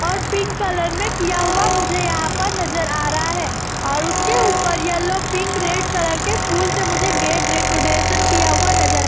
और pink colour में किया हुआ मुझे यहाँ पर नज़र आ रहा है और उसके ऊपर येलो पिंक रेड कलर के फूल से मुझे गेट डेकोरैशन किया हुआ नज़र --